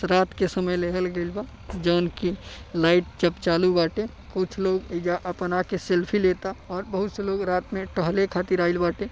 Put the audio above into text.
रात के समय लेहल गइल बा जोन कि लाइट जब चालू बाटे। कुछ लोग एइजा आके आपन सेल्फ़ी लेता और बहुत से लोग रात में टहले खातीर आइल बाटे।